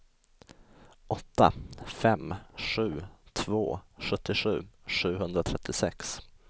åtta fem sju två sjuttiosju sjuhundratrettiosex